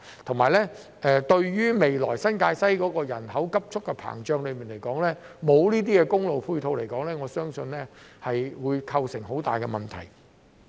再者，由於未來新界西人口急速膨脹，如果沒有公路配套，我相信會構成很大的問題。